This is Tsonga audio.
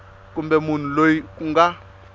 kumbe munhu loyi ku nga